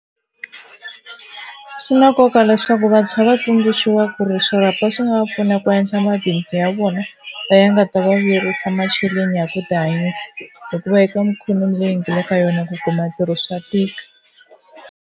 Swi na nkoka leswaku vantshwa va tsundzuxiwa ku ri swirhapa swi nga va pfuna ku endla mabindzu ya vona va ya nga ta va vuyerisa macheleni ya ku tihanyisa, hikuva endliwa minkhuvo leyi nga le ka yona ku kuma ntirho swa tika.